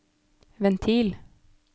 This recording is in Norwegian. ventil